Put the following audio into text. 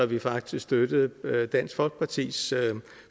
vi faktisk støttede dansk folkepartis